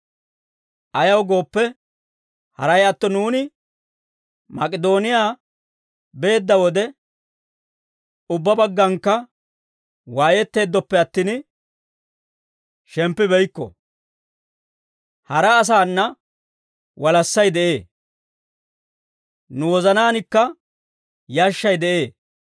Ayaw gooppe, haray atto nuuni Mak'idooniyaa beedda wode, ubbaa baggankka waayetteeddoppe attin, shemppibeykko; hara asaana walassay de'ee; nu wozanaankka yashshay de'ee.